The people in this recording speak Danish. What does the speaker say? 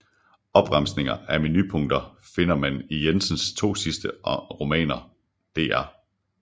Opremsninger af menupunkter finder man i Jensens to sidste romaner Dr